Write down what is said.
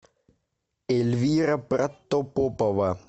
эльвира протопопова